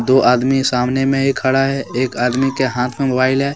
दो आदमी सामने में ही खड़ा है एक आदमी के हाथ में मोबाइल है।